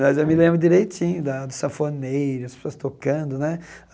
Mas eu me lembro direitinho da do safoneiro, as pessoas tocando né.